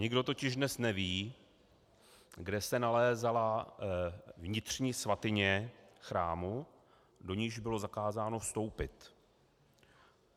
Nikdo totiž dnes neví, kde se nalézala vnitřní svatyně chrámu, do níž bylo zakázáno vstoupit.